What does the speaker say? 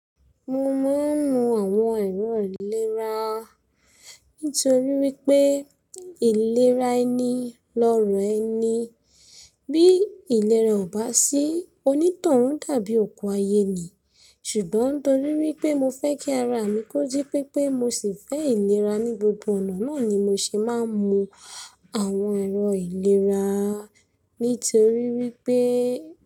Mo máa ń mu àwọn ẹ̀rọ ìlera, nítorí wípé ìlera ẹni lọrọ ẹni. Bí ìlera ò bá sí, onítọ̀hún dàbí òkú ayé ni. Ṣùgbọ́n nítorí wípé mo fẹ́ kí ara mi kóji pépé mo sì fẹ́ ìlera ní gbogbo ọ̀nà, náà ni mo ṣe máa ń mu àwọn ẹ̀rọ ìlera, nítorí wípé.